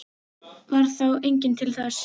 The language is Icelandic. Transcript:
Varð þá enginn til þess.